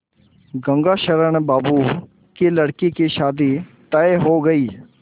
गंगाशरण बाबू की लड़की की शादी तय हो गई